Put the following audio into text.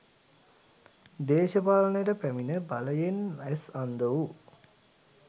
දේශපාලනයට පැමිණ බලයෙන් ඇස් අන්ධ වූ